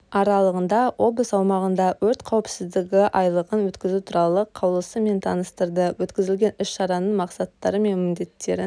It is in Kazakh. аралығында облыс аумағында өрт қауіпсіздігі айлығын өткізу туралы қаулысымен таныстырды өткізілетін іс-шараның мақсаттары мен міндеттерін